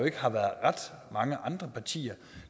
ikke har været ret mange andre partier